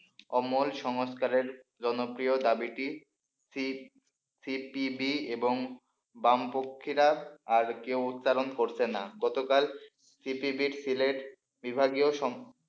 অমল সংস্কারের জনপ্রিয় দাবিটি সিপিবি এবং বামপক্ষীরা আর কেউ উচ্চারণ করছে না গতকাল সিপিবি সিলেট বিভাগীয় সম,